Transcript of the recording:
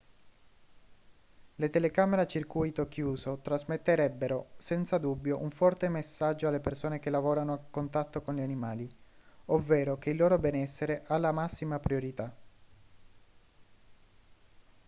le telecamere a circuito chiuso trasmetterebbero senza dubbio un forte messaggio alle persone che lavorano a contatto con gli animali ovvero che il loro benessere ha la massima priorità